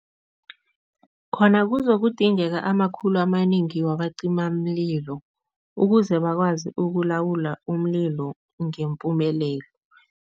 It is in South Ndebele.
Khona kuzokudingeka amakhulu amanengi wabacimamlilo ukuze bakwazi ukulawula umlilo ngempumelelo.